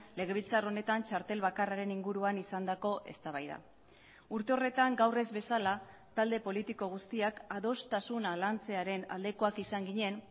legebiltzar honetan txartel bakarraren inguruan izandako eztabaida urte horretan gaur ez bezala talde politiko guztiak adostasuna lantzearen aldekoak izan ginen